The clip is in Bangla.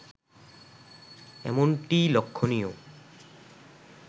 এমনটিই লক্ষণীয়